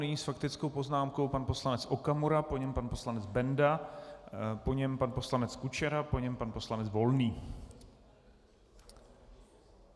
Nyní s faktickou poznámkou pan poslanec Okamura, po něm pan poslanec Benda, po něm pan poslanec Kučera, po něm pan poslanec Volný.